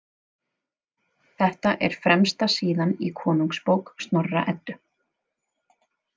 Þetta er fremsta síðan í Konungsbók Snorra- Eddu.